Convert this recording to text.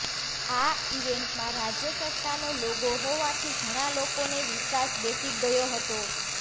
આ ઇવેન્ટમાં રાજ્ય સરકારનો લોગો હોવાથી ઘણા લોકોને વિશ્વાસ બેસી ગયો હતો